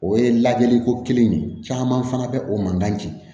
O ye lajɛliko kelen ye caman fana bɛ o mankan ci